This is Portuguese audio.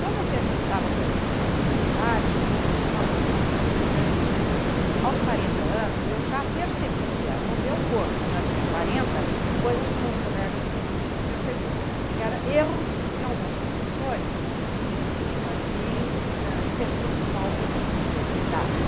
Quando eu estava terminando esse trabalho, eu tinha uma preocupação muito grande, porque aos quarenta anos eu já percebia no meu corpo, que já tinha quarenta, coisas que meus colegas de vinte não percebiam, que eram erros de alguns professores em cima de hã exercícios mal dados.